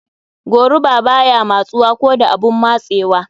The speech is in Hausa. Goruba baya matsuwa ko da abun matsewa.